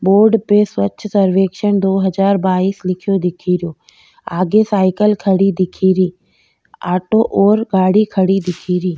Board पे स्वच्छ सर्वेक्छन दो हजार बाइस लिख्यो दिखेरो आगे साइकिल खड़ी दिखेरी ऑटो और गाड़ी खड़ी दिखेरी।